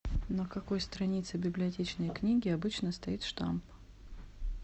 на какой странице библиотечной книги обычно стоит штамп